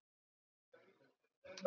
Guð geymi þig, Haddi minn.